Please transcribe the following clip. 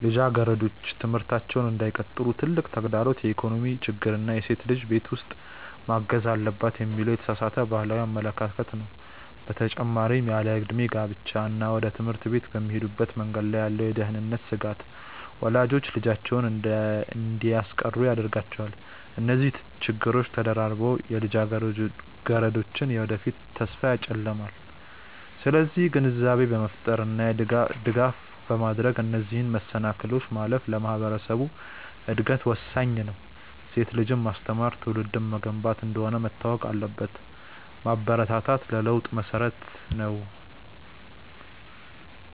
ልጃገረዶች ትምህርታቸውን እንዳይቀጥሉ ትልቁ ተግዳሮት የኢኮኖሚ ችግር እና ሴት ልጅ ቤት ውስጥ ማገዝ አለባት የሚለው የተሳሳተ ባህላዊ አመለካከት ነው። በተጨማሪም ያለዕድሜ ጋብቻ እና ወደ ትምህርት ቤት በሚሄዱበት መንገድ ላይ ያለው የደህንነት ስጋት ወላጆች ልጆቻቸውን እንዲያስቀሩ ያደርጋቸዋል። እነዚህ ችግሮች ተደራርበው የልጃገረዶችን የወደፊት ተስፋ ያጨልማሉ። ስለዚህ ግንዛቤ በመፍጠር እና ድጋፍ በማድረግ እነዚህን መሰናክሎች ማለፍ ለማህበረሰቡ እድገት ወሳኝ ነው። ሴት ልጅን ማስተማር ትውልድን መገንባት እንደሆነ መታወቅ አለበት። ማበረታታት ለለውጥ መሰረት ነው።